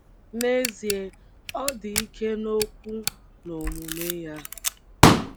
N'ezie, ọ dị ike n'okwu na omume ya